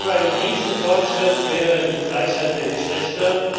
Ein Riesenfortschritt wäre die Gleichheit der Geschlechter